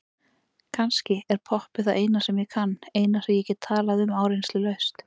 Kannski er poppið það eina sem ég kann, eina sem ég get talað um áreynslulaust.